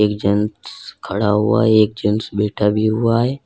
एक जेंट्स खड़ा हुआ है एक जेंट्स बैठा भी हुआ है।